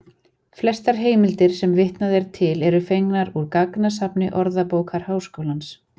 Flestar heimildir sem vitnað er til eru fengnar úr gagnasafni Orðabókar Háskólans.